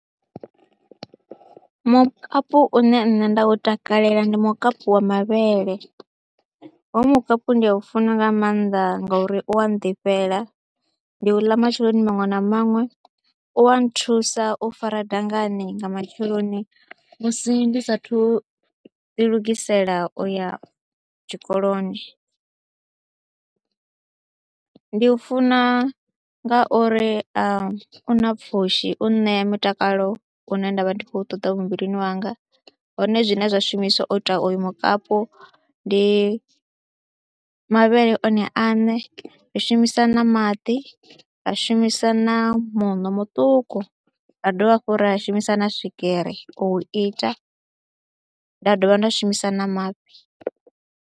Mukapu une nṋe nda u takalela ndi mukapu wa mavhele, hoyu mukapu ndi a u funa nga maanḓa ngori u a nḓifhela, ndi u ḽa matsheloni maṅwe na maṅwe, u a nthusa u fara dangani nga matsheloni musi ndi saathu u ḓilugisela u ya tshikoloni. Ndi u funa ngauri a u na pfhushi, u ṋea mutakalo une nda vha ndi khou ṱoḓa muvhilini wanga hone zwine zwa shumiswa u ita oyu mukapu ndi mavhele one aṋe. i shumisa na maḓi, ra shumisa na muṋo muṱuku, ra dovha hafhu ra a shumisa na swigiri u ita, nda dovha nda shumisa na mafhi.